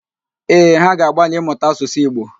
Ee, ha ga-agbalị ịmụta Asụsụ Igbo